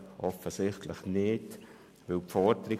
Offensichtlich ist das nicht der Fall.